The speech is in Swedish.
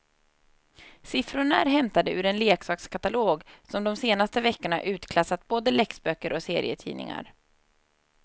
Siffrorna är hämtade ur en leksakskatalog som de senaste veckorna utklassat både läxböcker och serietidningar.